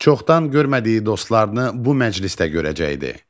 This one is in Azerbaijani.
Çoxdan görmədiyi dostlarını bu məclisdə görəcəkdi.